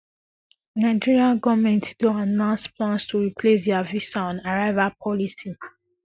nigeria nigeria goment don announce plans to replace dia visa on arrival policy